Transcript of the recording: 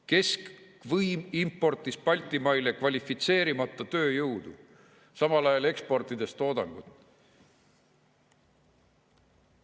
Keskvõim importis Baltimaile kvalifitseerimata tööjõudu, samal ajal eksportides toodangut.